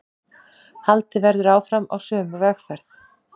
Haldið verði áfram á sömu vegferð